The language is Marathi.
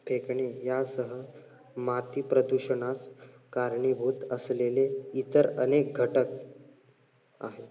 फेकणे यासह मातीप्रदूषणास कारणीभूत असलेले इतर अनेक घटक आहेत.